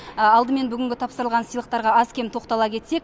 алдымен бүгінгі тапсырылған сыйлықтарға аз кем тоқтала кетсек